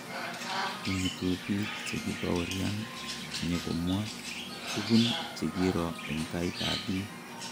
kimutu biik che ki baoryan nyekomwa tukun chekiro eng tait ab biik